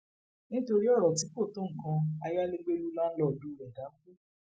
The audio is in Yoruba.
nítorí ọrọ tí kò tó nǹkan ayálégbé lù láńlọọdù rẹ dákú